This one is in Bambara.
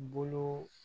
Bolo